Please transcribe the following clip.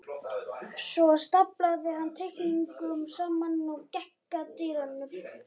Svo staflaði hann teikningunum saman og gekk að dyrunum.